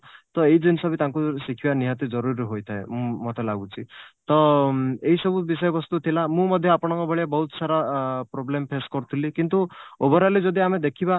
ତ ଏଇ ଜିନିଷ ବି ତାଙ୍କୁ ଶିଖିବା ନିହାତି ଜରୁରୀ ହୋଇଥାଏ ମୋତେ ଲାଗୁଛି ତ ଏଇ ସବୁ ବିଷୟବସ୍ତୁ ଥିଲା ମୁଁ ମଧ୍ୟ ଆପଣଙ୍କ ଭଳିଆ ବହୁତ ସାରା ଆ problem face କରୁଥିଲି କିନ୍ତୁ overally ଯଦି ଆମେ ଦେଖିବା